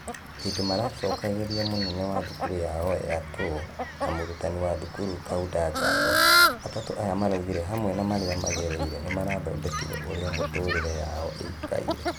Hĩndĩ maracokagĩria mũnene wa thukuru yao yator na mũrutani wa thukuru kaunda ngatho , atatũ aya maraugire hamwe marĩa magereire nĩmarathondekire ũrĩa mĩtũrĩre yao ĩikaire.